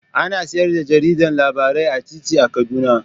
Ana sayar da jarida labarai a titi a Kaduna